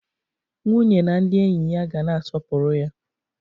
Nwunye na ndị enyi ya ga na-aspopụrụ ya.